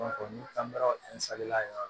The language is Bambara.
ni an taara la yen yɔrɔ